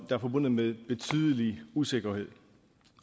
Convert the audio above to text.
er forbundet med betydelig usikkerhed